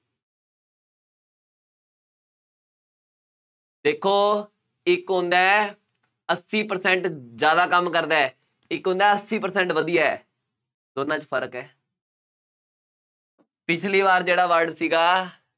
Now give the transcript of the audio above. ਦੇਖੋ ਇੱਕ ਹੁੰਦਾ ਹੈ, ਅੱਸੀ percent ਜ਼ਿਆਦਾ ਕੰਮ ਕਰਦਾ ਹੈ। ਇੱਕ ਹੁੰਦਾ ਅੱਸੀ percent ਵਧੀਆ ਹੈ। ਦੋਨਾਂ ਚ ਫਰਕ ਹੈ ਪਿਛਲੀ ਵਾਰ ਜਿਹੜਾ word ਸੀਗਾ,